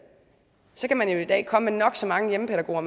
så kan man jo i dag komme med nok så mange hjemmepædagoger